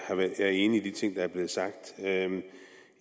er enig i de ting der er blevet sagt